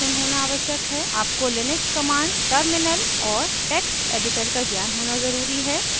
आपको Linux commands terminal और text editor का ज्ञान होना ज़रूरी है